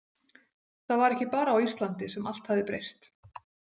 Það var ekki bara á Íslandi sem allt hafði breyst.